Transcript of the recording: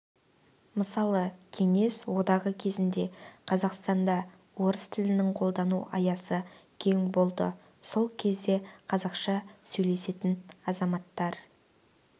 мысалы кеңес одағы кезінде қазақстанда орыс тілінің қолдану аясы кең болды сол кезде қазақша сөйлесетін азаматтар